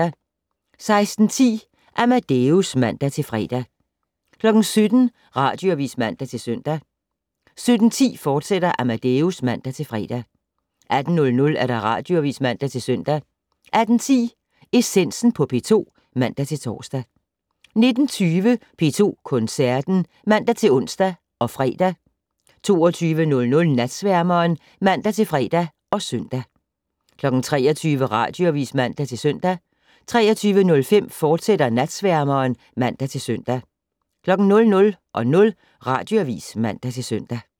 16:10: Amadeus (man-fre) 17:00: Radioavis (man-søn) 17:10: Amadeus, fortsat (man-fre) 18:00: Radioavis (man-søn) 18:10: Essensen på P2 (man-tor) 19:20: P2 Koncerten (man-ons og fre) 22:00: Natsværmeren (man-fre og søn) 23:00: Radioavis (man-søn) 23:05: Natsværmeren, fortsat (man-søn) 00:00: Radioavis (man-søn)